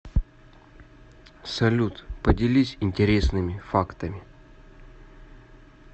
салют поделись интересными фактами